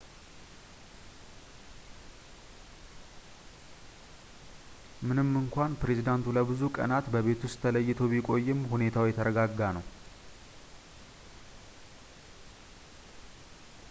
ምንም እንኳን ፕሬዚዳንቱ ለብዙ ቀናት በቤት ውስጥ ተለይቶ ቢቆይም ሁኔታው የተረጋጋ ነው